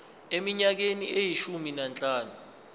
eminyakeni eyishumi nanhlanu